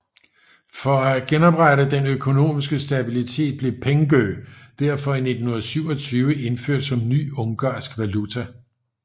For at genoprette den økonomiske stabilitet blev pengő derfor i 1927 indført som ny ungarsk valuta